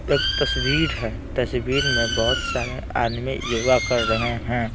एक तस्वीर हैं तस्वीर में बहुत सारे आदमी योगा कर रहे हैं।